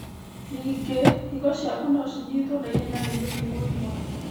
Ningĩ, higo ciaku nocinyitwo na ihenya nĩ mĩrimũ ĩmwe